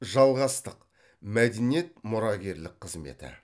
жалғастық мәдениет мұрагерлік қызметі